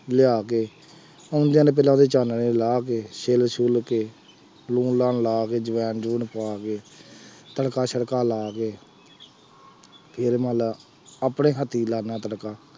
ਲਿਆ ਕੇ ਆਉਂਦਿਆਂ ਨੇ ਪਹਿਲਾਂ ਉਹਦੇ ਚਾਨਣੇ ਲਾਹ ਕੇ ਛਿੱਲ ਛੁੱਲ ਕੇ ਲੂਣ ਲਾਣ ਲਾ ਕੇ ਅੰਜ਼ਵਾਇਣ ਅੰਜ਼ਵਾਊਣ ਪਾ ਕੇ ਤੜਕਾ ਛੜਕਾ ਲਾ ਕੇ ਫੇਰ ਮੰਨ ਲਾ ਆਪਣੇ ਹੱਥੀਂ ਲਾਉਂਦਾ ਤੜਕਾ